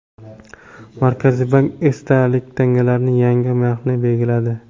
Markaziy bank esdalik tangalarning yangi narxini belgiladi.